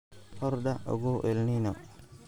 Hordhac Ogow El Nino